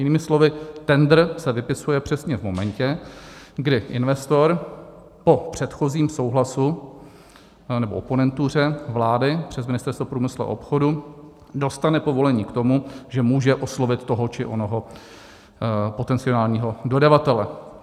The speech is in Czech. Jinými slovy, tendr se vypisuje přesně v momentě, kdy investor po předchozím souhlasu nebo oponentuře vlády přes Ministerstvo průmyslu a obchodu dostane povolení k tomu, že může oslovit toho či onoho potenciálního dodavatele.